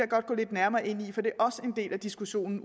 godt gå lidt nærmere ind i for det er også en del af diskussionen